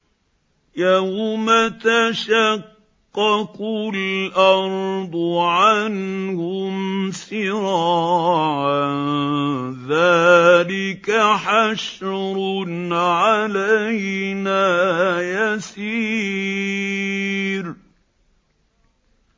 يَوْمَ تَشَقَّقُ الْأَرْضُ عَنْهُمْ سِرَاعًا ۚ ذَٰلِكَ حَشْرٌ عَلَيْنَا يَسِيرٌ